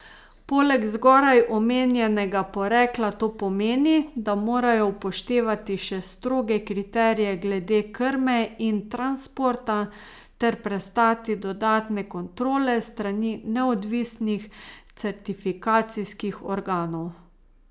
Poleg zgoraj omenjenega porekla to pomeni, da morajo upoštevati še stroge kriterije glede krme in transporta ter prestati dodatne kontrole s strani neodvisnih certifikacijskih organov.